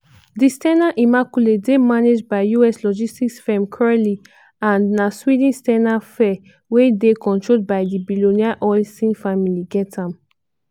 di s ten a immaculate dey managed by us logistics firm crowley and na sweden s ten a sphere wey dey controlled by di billionaire olsson family get am.